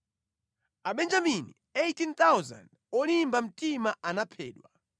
Abenjamini 18,000 olimba mtima anaphedwa.